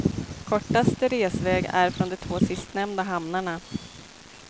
Kortaste resväg är från de två sistnämnda hamnarna.